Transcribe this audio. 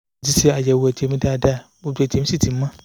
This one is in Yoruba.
"mo ti ṣe àyẹ̀wò ẹ̀jẹ̀ mi dáadáa gbogbo ẹ̀jẹ̀ mi sì ti mọ́